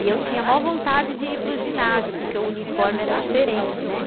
E eu tinha a maior vontade de ir para o ginásio, porque o uniforme era diferente, né?